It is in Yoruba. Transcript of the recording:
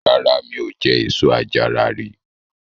Rárá, mi ò jẹ èso àjàrà rí.